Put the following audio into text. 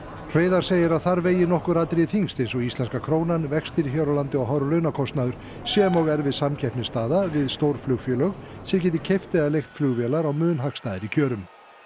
Hreiðar segir að þar vegi nokkur atriði þyngst eins og íslenska krónan vextir hér á landi og hár launakostnaður sem og erfið samkeppnisstaða við stór flugfélög sem geti keypt eða leigt flugvélar á mun hagstæðari kjörum